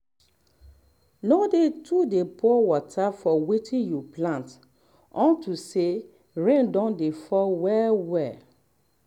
no too dey pour water for wetin you plant unto say rain don dey fall well well